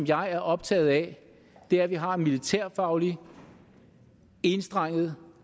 jeg er optaget af er at vi har en militærfaglig enstrenget